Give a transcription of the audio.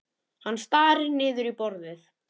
Hann starir niður í borðið.